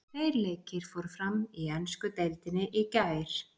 Tveir leikir fóru fram í ensku deildinni í gær.